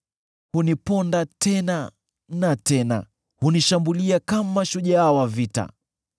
Huniponda tena na tena; hunishambulia kama shujaa wa vita.